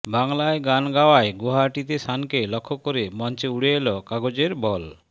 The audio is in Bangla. বাংলায় গান গাওয়ায় গুয়াহাটিতে শানকে লক্ষ্য করে মঞ্চে উড়ে এল কাগজের বল